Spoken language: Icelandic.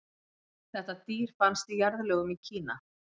þetta dýr fannst í jarðlögum í kína